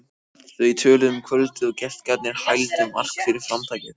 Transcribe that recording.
Þau töluðu um kvöldið og gestgjafarnir hældu Mark fyrir framtakið.